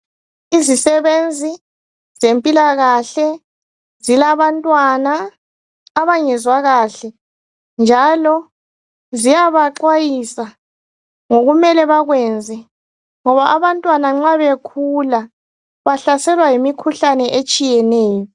Izisebenzi zempilakahle zilabantwana abangezwa kahle njalo ziyabaxwayisa ngokumele bakwenze ngoba abantwana nxa bekhula bahlaselwa yimikhuhlane etshiyeneyo.